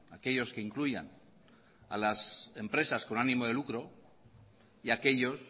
aquellos que incluyan a las empresas con ánimo de lucro y aquellos